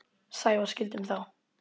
Sævar skildum þá.